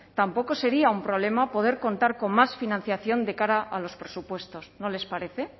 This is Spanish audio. tampoco sería un problema poder contar con más financiación de cara a los presupuestos no les parece